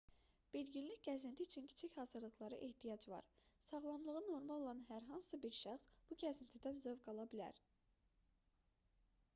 bir günlük gəzinti üçün kiçik hazırlıqlara ehtiyac var sağlamlığı normal olan hər hansı bir şəxs bu gəzintidən zövq ala bilər